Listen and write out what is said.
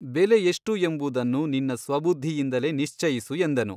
ಬೆಲೆ ಎಷ್ಟು ಎಂಬುದನ್ನು ನಿನ್ನ ಸ್ವಬುದ್ಧಿಯಿಂದಲೇ ನಿಶ್ಚಯಿಸು ಎಂದನು.